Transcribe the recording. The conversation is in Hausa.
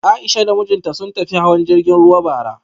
A'isha da mijinta sun tafi hawan jirgin ruwa bara